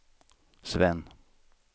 Sven